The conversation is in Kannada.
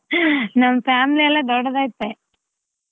ನಮ್ family ಎಲ್ಲ ದೊಡ್ಡದೈತೆ.